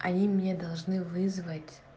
они мне должны вызвать